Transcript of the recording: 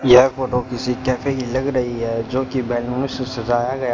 यह फोटो किसी कैफे की लग रही है जो कि बैलून से सजाया गया--